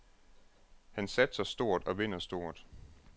Han satser stort og vinder stort.